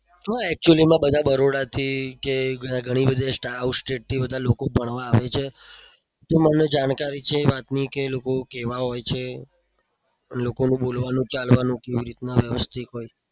શું આ actually માં બરોડાથી કે ગણ બધા out state થી બધા લોકો ફરવા આવે છે. તો મને જાણકારી છે એ વાતની કે એ લોકો કેવા હોય છે લોક નું બોલવાનું ચાલવાનું કેવું હોય છે?